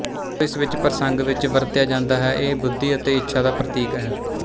ਜਦੋਂ ਇਸ ਪ੍ਰਸੰਗ ਵਿੱਚ ਵਰਤਿਆ ਜਾਂਦਾ ਹੈ ਇਹ ਬੁੱਧੀ ਅਤੇ ਇੱਛਾ ਦਾ ਪ੍ਰਤੀਕ ਹੈ